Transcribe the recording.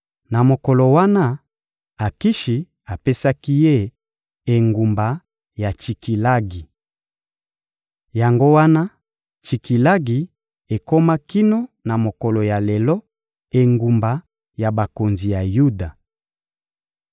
Na mokolo wana, Akishi apesaki ye engumba ya Tsikilagi. Yango wana Tsikilagi ekoma kino na mokolo ya lelo engumba ya bakonzi ya Yuda.